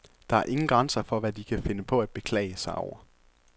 Der er ingen grænser for, hvad de kan finde på at beklage sig over.